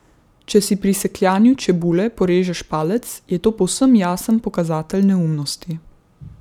Če si pri sekljanju čebule porežeš palec, je to povsem jasen pokazatelj neumnosti.